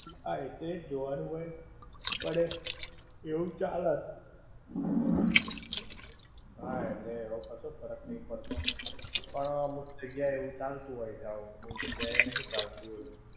હા એ તો એ જ જોવાનું હોય, પણ એ, એવું ચાલે. હા એટલે એવો કશો ફરક નઈ પડતો, પણ અમુક જગ્યાએ એવું ચાલતું હોય છે આવું, અમુક જગ્યાએ નહિ ચાલતું એવું.